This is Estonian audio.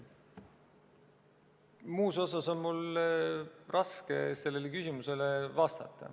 Muus osas on mul raske sellele küsimusele vastata.